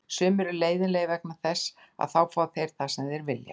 Sumir eru leiðinlegir vegna þess að þá fá þeir það sem þeir vilja.